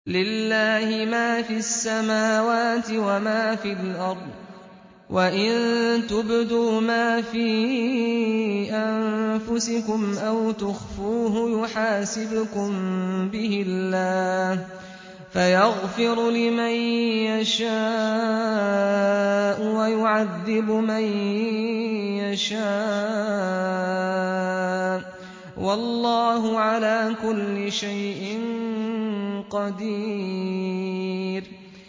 لِّلَّهِ مَا فِي السَّمَاوَاتِ وَمَا فِي الْأَرْضِ ۗ وَإِن تُبْدُوا مَا فِي أَنفُسِكُمْ أَوْ تُخْفُوهُ يُحَاسِبْكُم بِهِ اللَّهُ ۖ فَيَغْفِرُ لِمَن يَشَاءُ وَيُعَذِّبُ مَن يَشَاءُ ۗ وَاللَّهُ عَلَىٰ كُلِّ شَيْءٍ قَدِيرٌ